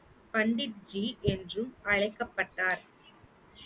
பண்டிட்ஜீ என்றும் அழைக்கப்பட்டார்